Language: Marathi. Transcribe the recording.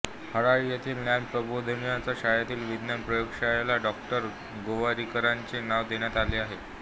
हराळी येथील ज्ञान प्रबोधिनीच्या शाळेतील विज्ञान प्रयोगशाळेला डॉ गोवारीकरांचे नाव देण्यात आले आहे